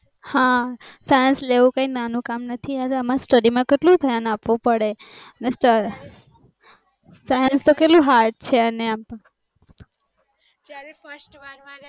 હા science લેવું કાય નાનું કામ નથી અને એમાં science માં કેટલું ધ્યાન આપવું પડે અને અત્યરે તો કેટલું hard છે